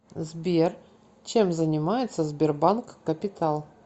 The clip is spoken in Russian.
сбер чем занимается сбербанк капитал